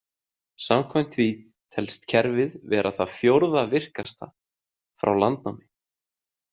Samkvæmt því telst kerfið vera það fjórða virkasta frá landnámi.